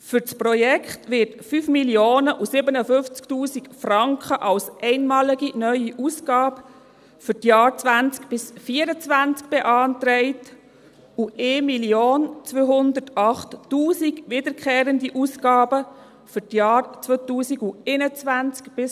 Für das Projekt werden 5 057 000 Franken als einmalige neue Ausgabe für die Jahre 2020–2024 beantragt und 1 208 000 Franken wiederkehrende Ausgaben für die Jahre 2021–2023.